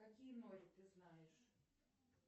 какие нори ты знаешь